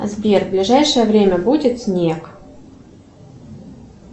сбер в ближайшее время будет снег